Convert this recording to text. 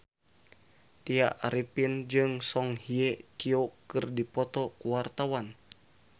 Tya Arifin jeung Song Hye Kyo keur dipoto ku wartawan